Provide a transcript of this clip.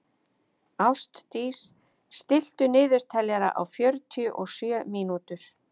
Ástdís, stilltu niðurteljara á fjörutíu og sjö mínútur.